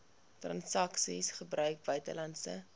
transaksies gebruik buitelandse